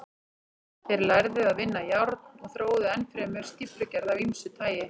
Þeir lærðu að vinna járn og þróuðu enn fremur stíflugerð af ýmsu tagi.